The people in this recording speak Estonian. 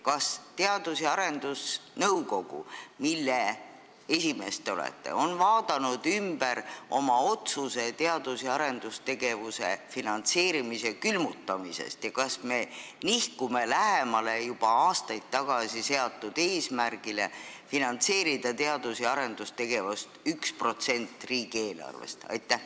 Kas Teadus- ja Arendusnõukogu, mille esimees te olete, on muutnud oma otsust teadus- ja arendustegevuse finantseerimise külmutamise kohta ja kas me nihkume lähemale juba aastaid tagasi seatud eesmärgile finantseerida teadus- ja arendustegevust summaga, mis moodustab 1% riigieelarvest?